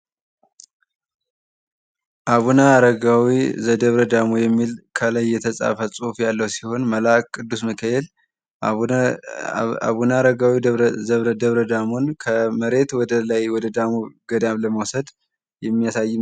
አቡነ አረጋዊ ዘደብረ ዳሞ የሚል ከላይ የተፃፈ ጽሁፍ ያለው ሲሆን መልአክ ቅዱስ ሚካኤል አቡነ አረጋዊ ዘደብረ ዳሞን ከመሬት ወደ ላይ ወደ ደብረ ዳሞ ገዳም ለመውሰድ የሚያሳይ